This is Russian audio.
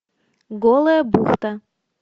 голая бухта